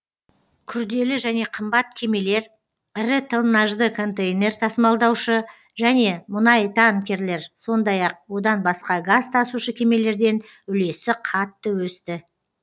күрделі және қымбат кемелер ірі тоннажды контейнер тасымалдаушы және мұнайтанкерлер сондай ақ одан басқа газ тасушы кемелерден үлесі қатты өсті